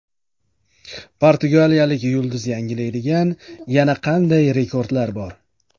Portugaliyalik yulduz yangilaydigan yana qanday rekordlar bor?.